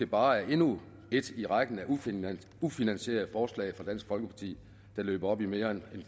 bare er endnu et i rækken af ufinansierede forslag fra dansk folkeparti der løber op i mere end